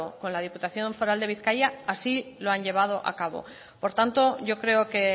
con la diputación foral de bizkaia así lo han llevado a cabo por tanto yo creo que